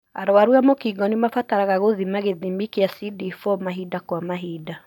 Arwaru a mũkingo nĩmabataraga gũthima gĩthimi kĩa CD4 mahinda kwa mahinda.